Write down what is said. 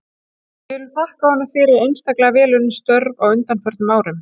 Við viljum þakka honum fyrir einstaklega vel unnin störf á undanförnum árum.